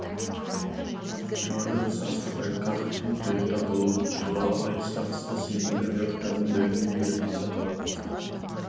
жоғарыда біз асхаб әл каһфтың тұйықта болуы туралы айтыс тартысты сенімді айғақтармен дәлелдеу керек деп қайталадық